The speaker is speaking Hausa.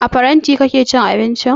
A farin faranti kake cin abincin?